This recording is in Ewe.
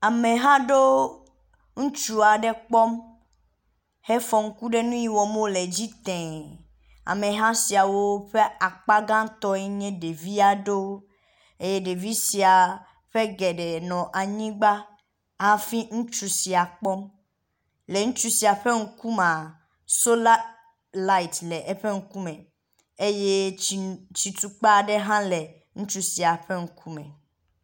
Ameha aɖewo ŋutsu aɖe kpɔm hefɔ ŋku ɖe nu yi wɔm wo le dzi tee. Ameha siawo ƒe akpa gãtɔe nye ɖevi aɖewo eye ɖevi siawo ƒe geɖe nɔ anyi ɖe anyigba hafi ŋutsu sia kpɔm. le ŋutsu sia ƒe ŋkumea sola lati le eƒe ŋkume eye tsi tsitukpa aɖe hã le ŋutsu sia ƒe ŋkume.